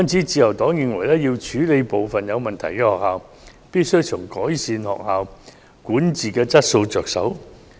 自由黨認為要處理部分有問題的學校，必須從改善學校管治質素着手。